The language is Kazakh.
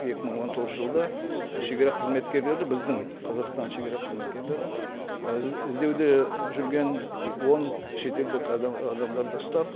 екі мың он тоғызыншы жылда шегара қызметкерлері біздің қазақстанның шегара қызметкерлері і іздеуде жүрген ы он шетелдік адам адамдарды ұстап